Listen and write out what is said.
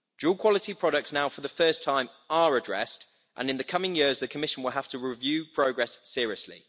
Dual quality products now for the first time are addressed, and in the coming years, the Commission will have to review progress seriously.